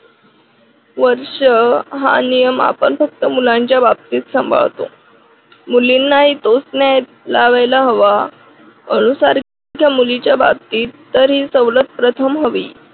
वर्ष हा नियम फक्त आपण मुलांच्या बाबतीत सांभाळतो. मुलींनाही तोच न्याय लावायला हवा. अनु सारख्या मुलीच्या बाबतीत तर ही सवलत प्रथम हवी.